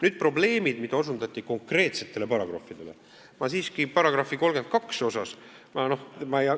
Nüüd probleemidest konkreetsetes paragrahvides, millele osutati.